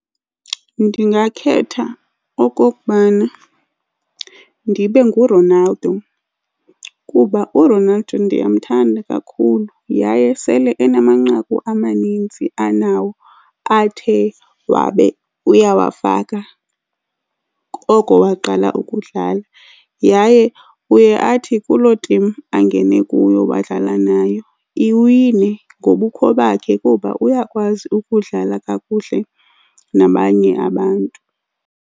Ndingakhetha okokubana ndibe nguRonaldo kuba uRonaldo ndiyamthanda kakhulu yaye sele enamanqaku amanintsi anawo athe wabe uyawafaka oko waqala ukudlala. Yaye uye athi kuloo timu angene kuyo wadlala nayo, iwine ngobukho bakhe kuba uyakwazi ukudlala kakuhle nabanye abantu.